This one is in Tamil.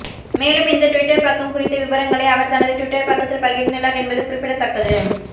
மேலும் இந்த டுவிட்டர் பக்கம் குறித்த விபரங்களை அவர் தனது டுவிட்டர் பக்கத்தில் பகிர்ந்துள்ளார் என்பது குறிப்பிடத்தக்கது